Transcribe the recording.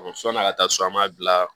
Sɔni a ka taa so an b'a bila